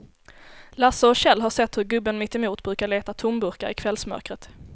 Lasse och Kjell har sett hur gubben mittemot brukar leta tomburkar i kvällsmörkret.